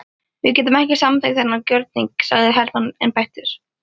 Við getum ekki samþykkt þennan gjörning sagði Hermann einbeittur.